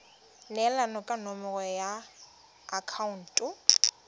neelana ka nomoro ya akhaonto